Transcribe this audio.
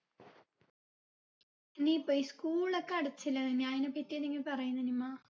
ഇനി ഇപ്പൊ school ഒക്കെ അടച്ചില്ലെ നനി അതിനെ പറ്റി എന്തെങ്കി പറയ് നനിമ്മ